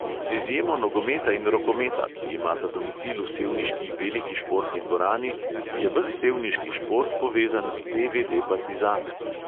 Z izjemo nogometa in rokometa, ki imata domicil v sevniški veliki športni dvorani, je ves sevniški šport povezan s te|ve|de partizan.